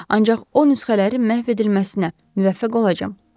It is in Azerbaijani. Ancaq o nüsxələrin məhv edilməsinə müvəffəq olacam.